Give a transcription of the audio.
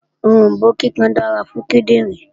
Oròmbó kíkan dára fún kíndìnrín